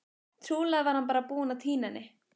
Trúlega var hann bara búinn að týna henni.